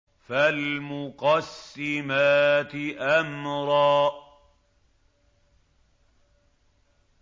فَالْمُقَسِّمَاتِ أَمْرًا